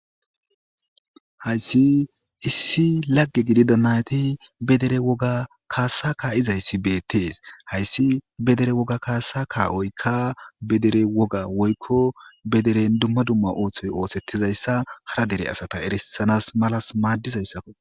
Hayssi issi lagge gidi dannayati bedere woga kaasa kaa'izayssi beetees hayssi bedere woga kaasa kaa'oyka bedere woga woykko bederen dumma dumma ooththoy oosettizayssa hara dere asata erisanas malas maaddizayssakko.